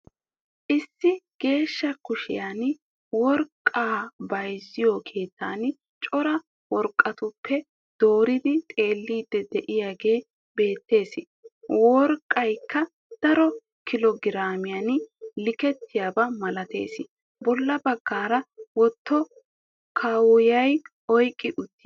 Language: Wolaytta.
Issi Geeshsha Kushiyan Worqqa Bayzziyoo keettan Cora worqqatuppe Dooridi Xeelliidi De"iyaagee Beettes. Worqqaykka Daro Kilo Giraamiyan likketiyaaba malatees. Bolla baggaara bootta kaqquwan oyqqetti uttiis